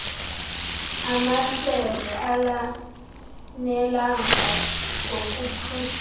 amahlelo alanelanga ngokothusayo